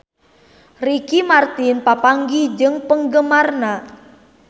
Ricky Martin papanggih jeung penggemarna